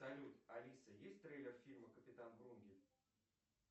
салют алиса есть трейлер фильма капитан врунгель